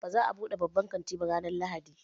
Ba za a buɗe babban kantin ba ranar Lahadi.